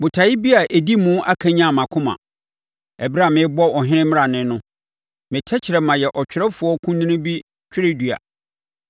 Botaeɛ bi a ɛdi mu akanyane mʼakoma ɛberɛ a merebɔ ɔhene mmrane no; me tɛkrɛma yɛ ɔtwerɛfoɔ kunini bi twerɛdua.